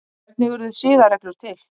hvernig urðu siðareglur til